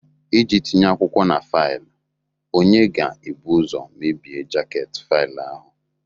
Iji tinye akwụkwọ na faịlụ, onye ga-ebu ụzọ mebie jaket faịlụ ahụ